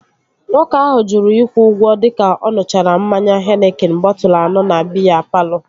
Nwoke ahụ jụrụ ịkwụ ụgwọ dịka ọ ṅuchara mmanya henikin bọtụlu anọ na biya palọ